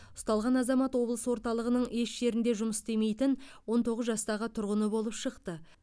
ұсталған азамат облыс орталығының еш жерде жұмыс істемейтін он тоғыз жастағы тұрғыны болып шықты